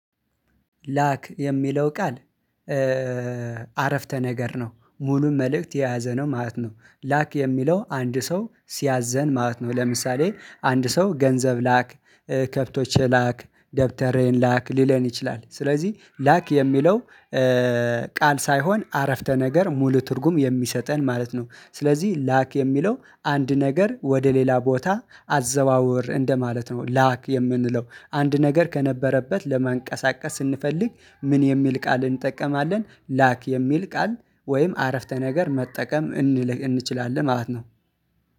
ላክ የሚለው ቃል አረፍተ ነገር ነው ሙሉ መልእክት የያዘ ነው ማለት ነው። ላክ የሚለው አንድ ሰው ሲያዘን ማለት ነው ለምሳሌ አንድ ሰው ገንዘብ ላክ። ከብቶች ላክ ደብተሬን ላክ ሊለን ይችላል ስለዚህ ላክ የሚለው ቃል ሳይሆን አረፍተ ነገር ሙሉ ትርጉም የሚሰጠን ማለት ነው። ስለዚህ ላክ የሚለው አንድ ነገር ወደ ሌላ ቦታ አዘዋውር እንደማለት ነው። ላክ የምንለው አንድ ነገር ከነበረበት ለማንቀሳቀስ ስንፈልግ ምን የሚል ቃል እንጠቀማለን? ላክ የሚል ቃል ወይም አረፍተ ነገር መጠቀም እንችላለን ማለት ነው።